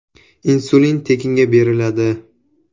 Insulin tekinga beriladi.